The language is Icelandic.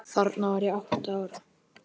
Þarna var ég átta ára.